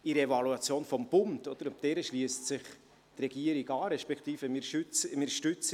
In der Evaluation des Bundes – und darauf stützt sich die Regierung in ihrer Beurteilung – hat man keine sichtbare